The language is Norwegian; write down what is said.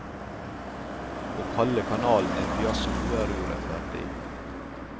Å kalle kanalen en fiasko er urettferdig.